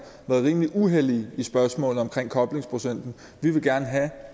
rimelig uhellige i spørgsmålet om koblingsprocenten vi vil gerne have